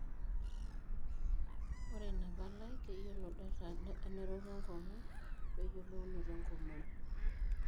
Ore ina palai keyiolo data e nerok enkongu o weyiolounoto enkomom.